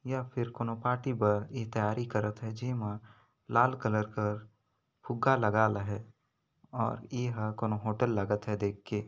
या फिर कोनो पार्टी बा तैयारी करते है जेमा लाल कलर कर फुग्गा लगा ल है और यह कौन होटल लागत है देख के --